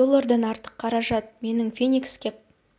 доллардан артық қаражат менің феникске